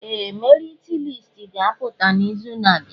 Ee! Merit listi ga-apụta n'izu na-abịa.